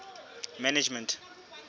management